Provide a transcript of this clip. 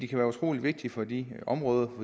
kan være utrolig vigtige for de områder